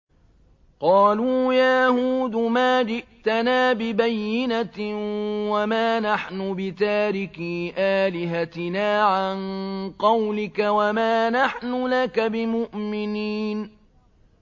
قَالُوا يَا هُودُ مَا جِئْتَنَا بِبَيِّنَةٍ وَمَا نَحْنُ بِتَارِكِي آلِهَتِنَا عَن قَوْلِكَ وَمَا نَحْنُ لَكَ بِمُؤْمِنِينَ